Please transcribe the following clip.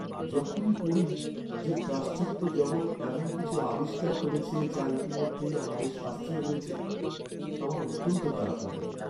যখনই পড়ি যে পাশ্চাত্য জগত এমন কিছু "আবিষ্কার" করেছে যা ইতিমধ্যেই আমাদের শাস্ত্রে রয়েছে, আমার অত্যন্ত খারাপ লাগে।